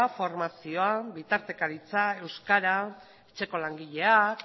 formazioa bitartekaritza euskara etxeko langileak